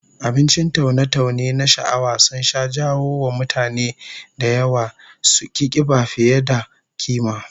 Abincin taune-taune na sha'awa sun sha jawo wa mutane da yawa suki kiba fiye da kima